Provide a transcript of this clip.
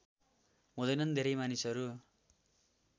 हुँदैनन् धेरै मानिसहरू